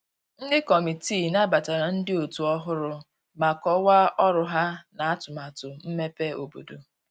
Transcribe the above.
Ndi kọmitịị nabatara ndi otu ohụrụ ma kowaa ọrụ ha na atumatu mmebe obodo